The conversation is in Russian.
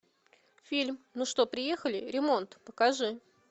фильм ну что приехали ремонт покажи